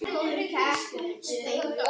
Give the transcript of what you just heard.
fyrir áhrifum af mengun sjávar.